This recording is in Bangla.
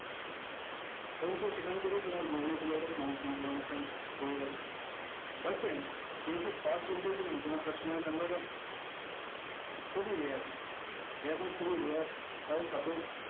অবশ্যই সেখান থেকে তোমার google এর সমস্ত information পেয়ে যাবে, hello friends কেও কি first impression এ তোমার customer এর খুব ই rare এরকম খুব ই rare